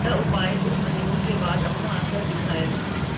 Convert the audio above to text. यह उपाय कुछ महीनों के बाद अपना असर दिखाएगा